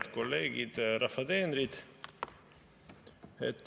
Head kolleegid, rahva teenrid!